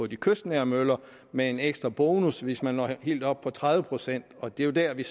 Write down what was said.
de kystnære møller med en ekstra bonus hvis man når helt op på tredive procent og det er jo der vi